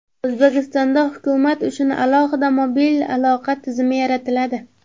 O‘zbekistonda hukumat uchun alohida mobil aloqa tizimi yaratiladi.